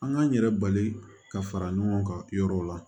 An k'an yɛrɛ bali ka fara ɲɔgɔn kan yɔrɔw la